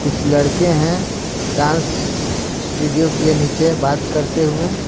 कुछ लड़के हैं डांस स्टूडियो के नीचे बात करते हुए--